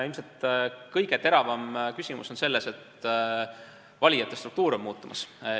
Ilmselt kõige teravam küsimus on selles, et valijate struktuur on muutumas.